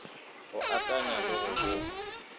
go akanya le go bopa